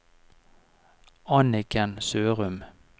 Anniken Sørum